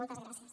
moltes gràcies